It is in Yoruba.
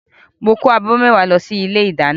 Mo kó abọ́ mẹ́wàá lọ sí ilé ìdáná